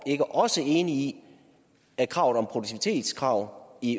ikke også enig i at kravet om produktivitetskrav i